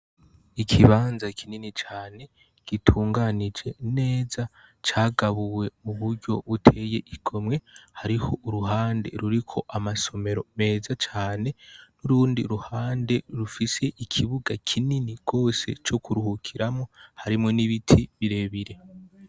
Ikibanza kinini cyane gitunganije neza cagabuwe mu buryo buteye igomwe .hariho uruhande ruriko amasomero meza cyane n'urundi ruhande rufise ikibuga kinini kose co kuruhukiramo harimo n'ibiti birebire.